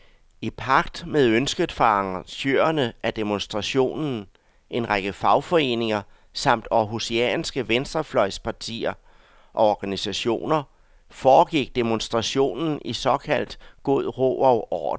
I pagt med ønsket fra arrangørerne af demonstrationen, en række fagforeninger samt århusianske venstrefløjspartier og organisationer, foregik demonstrationen i såkaldt god ro og orden.